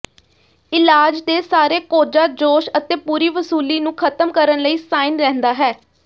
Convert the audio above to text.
ਇਲਾਜ ਦੇ ਸਾਰੇ ਕੋਝਾ ਜੋਸ਼ ਅਤੇ ਪੂਰੀ ਵਸੂਲੀ ਨੂੰ ਖਤਮ ਕਰਨ ਲਈ ਸਾਈਨ ਰਹਿੰਦਾ ਹੈ